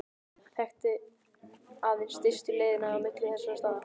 Og hann þekkti aðeins stystu leiðina á milli þessara staða.